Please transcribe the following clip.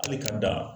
Hali ka dan